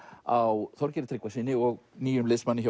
á Þorgeiri Tryggvasyni og nýjum liðsmanni